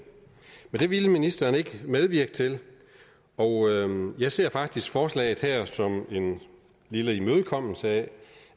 men det ville ministeren ikke medvirke til og jeg ser faktisk forslaget her som en lille imødekommelse af